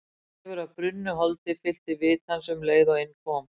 Þefur af brunnu holdi fyllti vit hans um leið og inn kom.